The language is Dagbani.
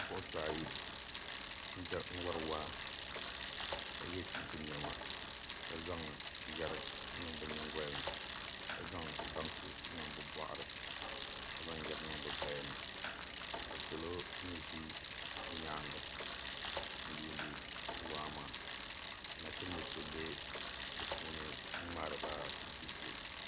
bipuɣinsi ayi n wari waa ka ye chinchini nema ka zaŋ yari n niŋ bɛ nyingoya ni ka zaŋ baŋsi n niŋ bɛ bɔɣi ka zaŋ yari niŋ bɛ gbaya ni ka salo mi ʒi nyaanga n yuundi waa maa ka nachimbil' so be di puuni n ŋmaari ba viidiyo